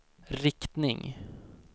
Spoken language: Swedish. riktning